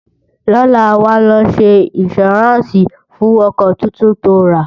lọla, wà ló ṣé insuranci fún ọkọ túntùn tó rà